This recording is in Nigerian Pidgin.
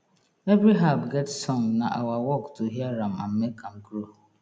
every herb get song na our work to hear am and make am grow